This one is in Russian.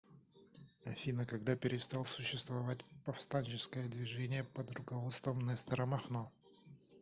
афина когда перестал существовать повстанческое движение под руководством нестора махно